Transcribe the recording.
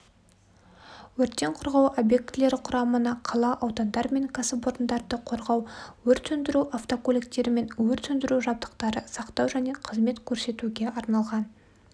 өрттен қорғау объектілері құрамына қала аудандар мен кәсіпорындарды қорғау өрт сөндіру автокөліктері мен өрт сөндіру жабдықтарын сақтау және қызмет көрсетуге арналған